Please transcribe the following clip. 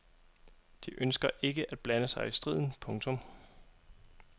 De ønsker ikke at blande sig i striden. punktum